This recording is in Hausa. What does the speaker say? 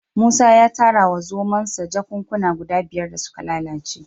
Musa ya tara wa zomonsa jakunkuna guda biyar da suka lalace